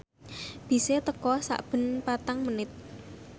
bise teka sakben patang menit